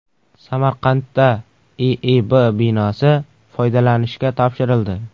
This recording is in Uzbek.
Samarqandda IIB binosi foydalanishga topshirildi.